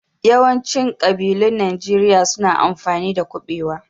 Yawaicin ƙabilun Najeriya su na amfani da kuɓewa.